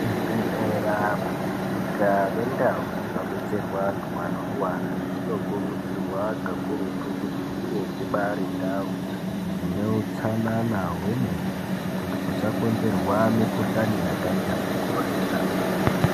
Zvibhedhlera makirinika nendau dzinobetserwa antu anorwara dzinokurudzirwa kakurutu kuti dzinge dzibari ndau dzine utsanana hwemene kuti kusakonzerwa mukhuhlani yakaita sekorera.